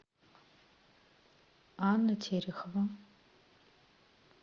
анна терехова